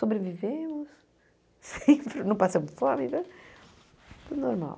Sobrevivemos, sempre, não passamos fome, né tudo normal.